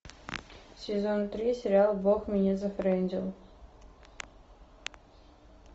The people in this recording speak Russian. сезон три сериала бог меня зафрендил